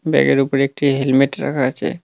ব্যাগের উপরে একটি হেলমেট রাখা আছে।